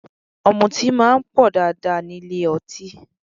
Ọ̀mùtí máa ń pọ̀ dáadáa nílé ọtí